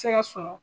Se ka sɔrɔ